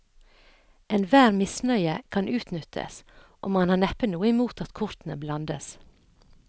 Enhver misnøye kan utnyttes, og man har neppe noe imot at kortene blandes.